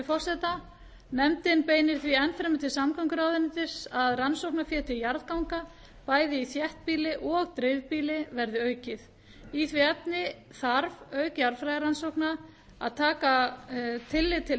leyfi forseta nefndin beinir því enn fremur til samgönguráðuneytis að rannsóknarfé til jarðganga bæði í þéttbýli og dreifbýli verði aukið í því efni þarf auk jarðfræðirannsókna að taka tillit til